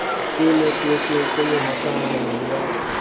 e netwekeng ke mohokahanyi wa